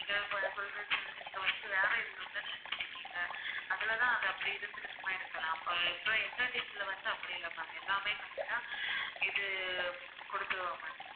இதுல இப்போ நான் சொல்ற dish அ வந்து நீங்க வந்து வேற இதுன்னுதானே நினைச்சிட்டு இருக்கீங்க அதுலதான் அது அப்படி இருந்திருக்குமா இருக்கலாம் இப்போ இந்த dish ல வந்து அப்படி இல்ல ma'am எல்லாமே correct ஆ இது குடுத்துருவோம் ma'am